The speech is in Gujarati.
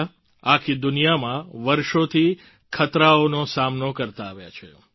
દિપડા આખી દુનિયામાં વર્ષોથી ખતરાઓનો સામનો કરતા આવ્યા છે